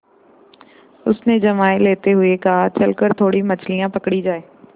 उसने जम्हाई लेते हुए कहा चल कर थोड़ी मछलियाँ पकड़ी जाएँ